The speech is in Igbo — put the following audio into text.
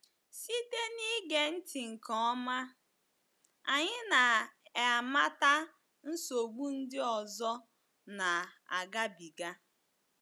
Site n’ige ntị nke ọma, anyị na - amata nsogbu ndị ọzọ na-agabiga.